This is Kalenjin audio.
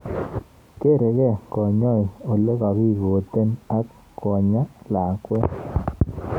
Kerei kanyoik olekakikoten ak konyaa lakwet.